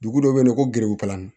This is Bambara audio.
Dugu dɔ bɛ yen nɔ ko gerenkalan